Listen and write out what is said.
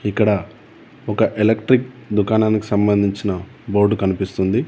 ఇక్కడ ఒక ఎలక్ట్రిక్ దుకాణానికి సంబంధించిన బోర్డు కనిపిస్తుంది.